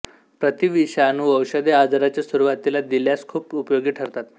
प्रतिविषाणू औषधे आजाराच्या सुरुवातीला दिल्यास खूप उपयोगी ठरतात